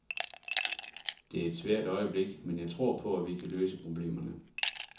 Det er et svært øjeblik, men jeg tror på, at vi kan løse problemerne.